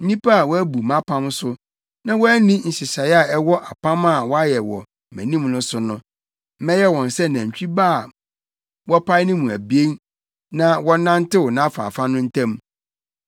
Nnipa a wɔabu mʼapam so, na wɔanni nhyehyɛe a ɛwɔ apam a wɔayɛ wɔ mʼanim no so no, mɛyɛ wɔn sɛ nantwi ba a wɔpae ne mu abien na wɔnantew nʼafaafa no ntam no.